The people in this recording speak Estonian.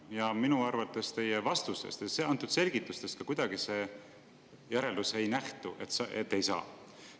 Ja minu arvates teie vastustest ja selgitustest ka kuidagi see järeldus ei nähtu, et ei saa.